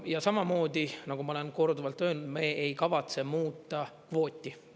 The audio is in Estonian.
Ja samamoodi, nagu ma olen korduvalt öelnud, me ei kavatse muuta kvooti.